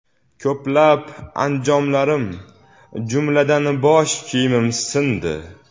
Ko‘plab anjomlarim, jumladan, bosh kiyimim sindi.